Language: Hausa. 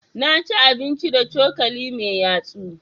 Na ci abinci da cokali mai yatsu.